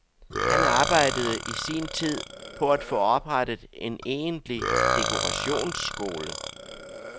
Han arbejdede i sin tid på at få oprettet en egentlig dekorationsskole.